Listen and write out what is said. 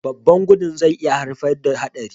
Babban gudun zai iya haifar da haɗari.